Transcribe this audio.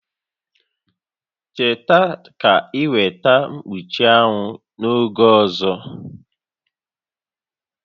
Cheta na ị weta mkpuchi anwụ n'oge ọzọ!